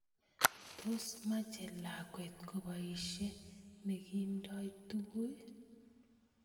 Tos meche lakwet koboishe nekindoi tukun?